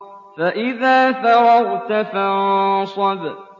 فَإِذَا فَرَغْتَ فَانصَبْ